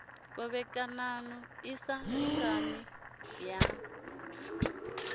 khovhekano i sa lingani ya